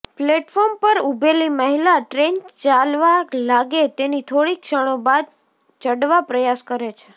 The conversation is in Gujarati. પ્લેટફોર્મ પર ઊભેલી મહિલા ટ્રેન ચાલવા લાગે તેની થોડી ક્ષણો બાદ ચડવા પ્રયાસ કરે છે